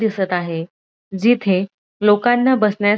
दिसत आहे जिथे लोकांना बसण्यास --